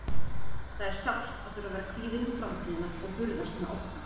Það er sárt að þurfa að vera kvíðinn um framtíðina og burðast með óttann.